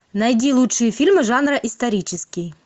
найди лучшие фильмы жанра исторический